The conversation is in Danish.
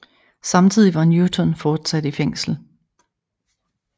Samtidig var Newton fortsat i fængsel